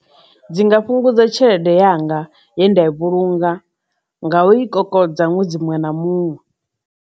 Dzi nga fhungudza tshelede yanga ye nda i vhulunga nga u i kokodza ṅwedzi muṅwe na muṅwe.